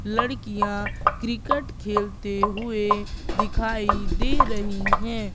लड़कियां क्रिकेट खेलते हुए दिखाई दे रही है।